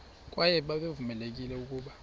kwaye babevamelekile ukuba